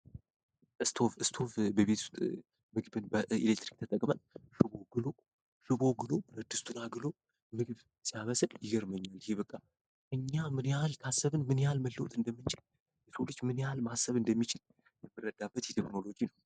ስቶቭ ምድጃ በቤት ውስጥ በኤሌክትሪክ ግሎ ብረት ድስቱን አግሎ ወጥ መስራት የሚቻልበት ነው እኛ አሰብን ምን ያክል መለወጥ እንደምንችል?